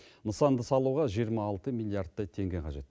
нысанды салуға жиырма алты миллиардтай теңге қажет